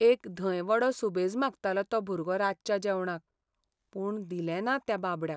एक धंय वडो सुबेज मागतालो तो भुरगो रातच्या जेवणाक, पूण दिलें ना त्या बाबड्याक.